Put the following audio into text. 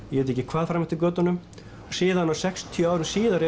ég veit ekki hvað fram eftir götunum og síðan sextíu árum síðar